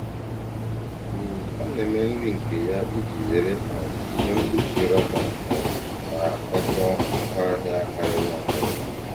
um Ọ na-eme nri nke ya iji zere um ihe mkpuchi rọba um na nkwakọ ngwaahịa karịrị akarị.